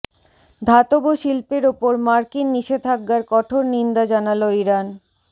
ধাতব শিল্পের ওপর মার্কিন নিষেধাজ্ঞার কঠোর নিন্দা জানাল ইরান